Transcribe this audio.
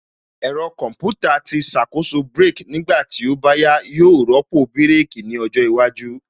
Ẹ̀rọ Kọmputa tí ṣàkóso brake nígbà tí ó bá yẹ yóò rọ́pò bírèkī ní ọjọ́ iwájú